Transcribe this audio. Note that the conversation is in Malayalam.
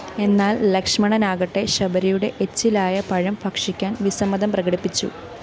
എന്നാല്‍ ലക്ഷ്മണനാകട്ടെ ശബരിയുടെ എച്ചിലായ പഴം ഭക്ഷിക്കാന്‍ വിസമ്മതം പ്രകടിപ്പിച്ചു